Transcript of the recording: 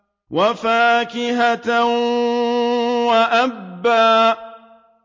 وَفَاكِهَةً وَأَبًّا